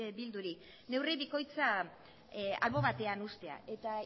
bilduri neurri bikoitza albo batean uztea eta